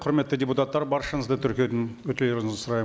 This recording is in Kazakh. құрметті депутаттар баршаңызды тіркеуден өтулеріңізді сұраймын